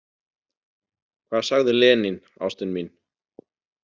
Hvað sagði Lenín, ástin mín?